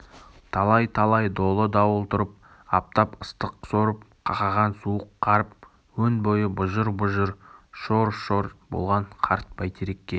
талай-талай долы дауыл тұрып аптап ыстық сорып қақаған суық қарып өн бойы бұжыр-бұжыр шор-шор болған қарт бөйтерекке